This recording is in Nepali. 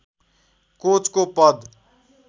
कोचको पद